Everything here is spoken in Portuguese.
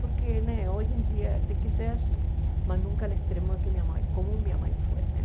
Porque hoje em dia tem que ser assim, mas nunca no extremo que minha mãe como minha mãe foi.